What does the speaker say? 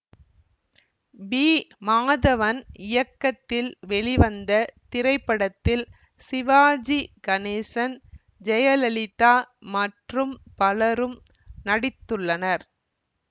B Madhavan இயக்கத்தில் வெளிவந்த திரைப்படத்தில் சிவாஜி கணேசன் ஜெயலலிதா மற்றும் பலரும் நடித்துள்ளனர்